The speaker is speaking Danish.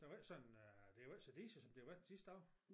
Det var ikke sådan øh det var ikke så diset som det har været de sidste dage